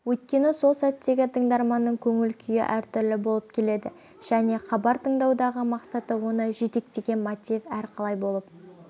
өйткені сол сәттегі тыңдарманның көңіл күйі әртүрлі болып келеді және хабар тыңдаудағы мақсаты оны жетектеген мотив әрқалай болып